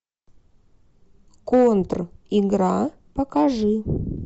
контригра покажи